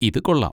ഇത് കൊള്ളാം!